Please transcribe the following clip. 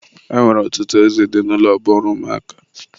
E nwere ọtụtụ ozi dị n'ụlọ bụ ọrụ ụmụaka.